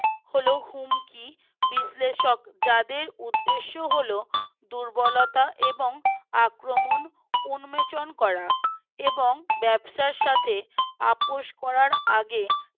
হল হুমকি বিশ্লেষক যাদের উদ্দেশ্য হল দুর্বলতা এবং আক্রমণ উন্মোচন করা এবং ব্যবসার সাথে আপোষ করার আগে